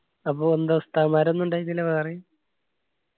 അപ്പൊ എന്ത ഉസ്താദ്മാർ ഒന്നു ഇണ്ടായിട്ടില്ല വേറെയും